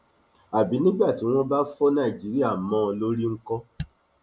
àbí nígbà tí wọn bá fọ nàìjíríà mọ ọn lórí ńkọ